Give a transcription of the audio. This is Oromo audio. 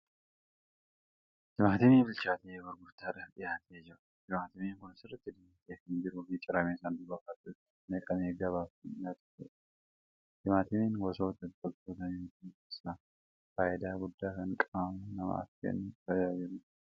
Timaatima bilchaatee gurgurtaadhaaf dhiyaatee jiru. Timaatimni kun sirriitti diimatee kan jiruu fi ciramee sanduuqa baattuu isaatti naqamee gabaaf kan dhiyaateerudha. Timaatimni gosoota biqiltoota nyaataa keessaa faayidaa guddaa kan qaama namaaf kennuuf tajaajiludha.